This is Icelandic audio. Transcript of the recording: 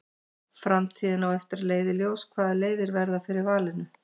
Framtíðin á eftir að leiða í ljós hvaða leiðir verða fyrir valinu.